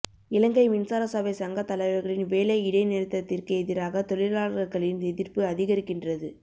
இலங்கை மின்சார சபை சங்கத் தலைவர்களின் வேலை இடைநிறுத்தத்திற்கு எதிராக தொழிலாளர்களின் எதிர்ப்பு அதிகரிக்கின்றது